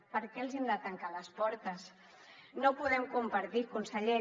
per què els hi hem de tancar les portes no ho podem compartir conseller